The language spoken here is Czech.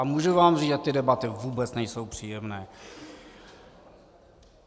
A můžu vám říct, že ty debaty vůbec nejsou příjemné.